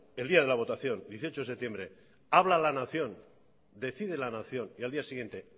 el día de la votación dieciocho de septiembre habla la nación decide la nación y al día siguiente